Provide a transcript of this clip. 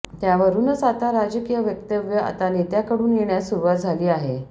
त्यावरूनच आता राजकीय वक्तव्य आता नेत्यांकडून येण्यास सुरुवात झाली आहे